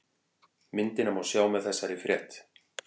Myndina má sjá með þessari frétt